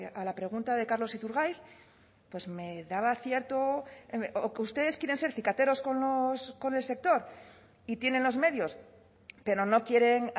a la pregunta de carlos iturgaiz pues me daba cierto o que ustedes quieren ser cicateros con el sector y tienen los medios pero no quieren